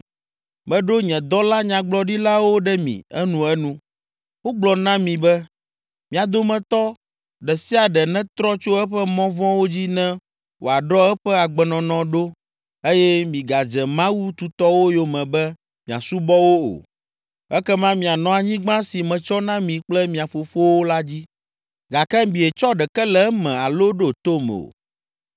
Meɖo nye dɔla nyagblɔɖilawo ɖe mi enuenu, wogblɔ na mi be. “Mia dometɔ ɖe sia ɖe netrɔ tso eƒe mɔ vɔ̃wo dzi ne wòaɖɔ eƒe agbenɔnɔ ɖo eye migadze mawu tutɔwo yome be miasubɔ wo o. Ekema mianɔ anyigba si metsɔ na mi kple mia fofowo la dzi.” Gake mietsɔ ɖeke le eme alo ɖo tom o.